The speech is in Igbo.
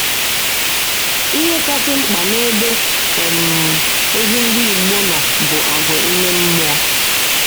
Ihe kasị mkpa n’ebe um ezi Ndị igbo nọ bụ àgwà ime mmụọ